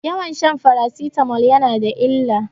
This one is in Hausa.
Yawan shan farasitamol yana da illa.